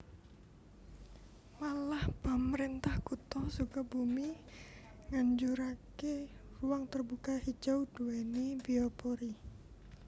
Malah pamrentah Kutha Sukabumi nganjurake ruang terbuka hijau duweni biopori